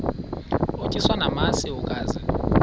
utyiswa namasi ukaze